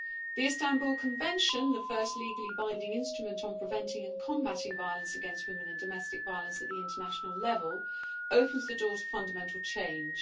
The Istanbul Convention, the first legally binding instrument on preventing and combating violence against women and domestic violence at the international level, opens the door to fundamental change.